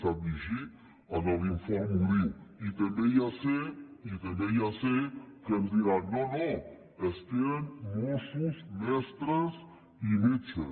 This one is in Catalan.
sap llegir a l’informe ho diu i també ja sé també ja sé que ens diran no no és que eren mossos mestres i metges